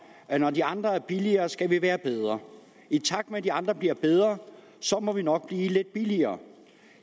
at når de andre er billigere skal vi være bedre i takt med at de andre bliver bedre så må vi nok blive lidt billigere